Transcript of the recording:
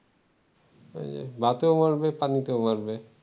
ভাতেও মারবে পানিতেও মারবে ।